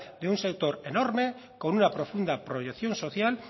de un sector enorme con una profunda proyección social